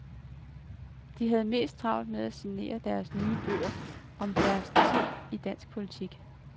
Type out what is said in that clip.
De havde mest travlt med at signere deres nye bøger om deres tid i dansk politik.